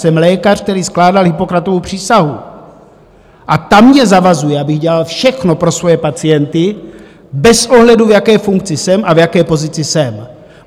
Jsem lékař, který skládal Hippokratovu přísahu, a ta mě zavazuje, abych dělal všechno pro svoje pacienty bez ohledu, v jaké funkci jsem a v jaké pozici jsem.